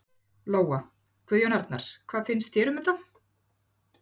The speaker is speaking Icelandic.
Lóa: Guðjón Arnar, hvað finnst þér um þetta?